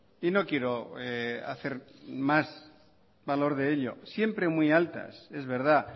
y no quiero hacer más valor de ello siempre muy altas es verdad